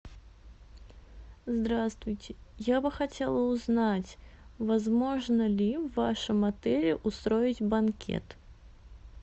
здравствуйте я бы хотела узнать возможно ли в вашем отеле устроить банкет